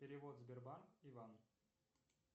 перевод сбербанк иван